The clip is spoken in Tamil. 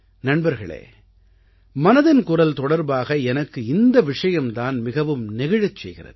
நண்பர்களே மனதின் குரல் தொடர்பாக எனக்கு இந்த விஷயம் தான் மிகவும் நெகிழச் செய்கிறது